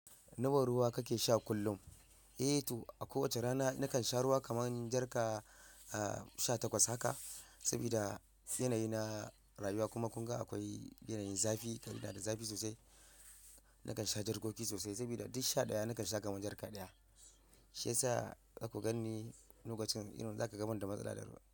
Nawa ruwa kake sha kullum? Eh to a kowace rana nakan sha ruwa kamar jar ka sha takwas haka. Saboda yanayi na rayuwa kuma kunga akwai yanayin zafi, Kaduna da zafi sosai. Nakan sha jarkoki sosai saboda duk sha ɗaya nakan sha kamar jar ka ɗaya. Shi yasa za ku ganni lokacin you know za ka ga banda matsala da ruwa.